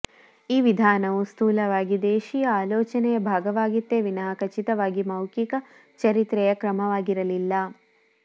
ಈ ವಿಧಾನವು ಸ್ಥೂಲವಾಗಿ ದೇಶೀಯ ಆಲೋಚನೆಯ ಭಾಗವಾಗಿತ್ತೇ ವಿನಃ ಖಚಿತವಾಗಿ ಮೌಖಿಕ ಚರಿತ್ರೆಯ ಕ್ರಮವಾಗಿರಲಿಲ್ಲ